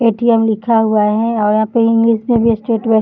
ATM. लिखा हुआ है और यहाँ पे इंग्लिश में भी स्टेट बैंक --